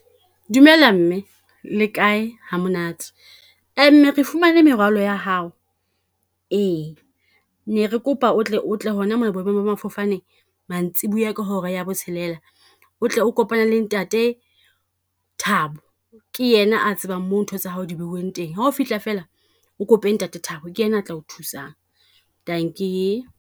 Dumela mme le kae, hamonate. Mme re fumane merwalo ya hao, ee. Ne re kopa o tle o tle hona mona boemong ba mafofane mantsiboya ka hora ya botshelela, o tle o kopana le ntate Thabo. Ke yena a tsebang moo ntho tsa hao di beuweng teng. Ha o fihla fela, o kope ntate Thabo ke yena a tla o thusang, dankie.